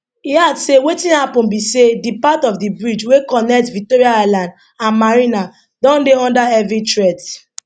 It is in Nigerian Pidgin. e add say wetin happun be say di part of di bridge wey connect victoria island and marina don dey under heavy threat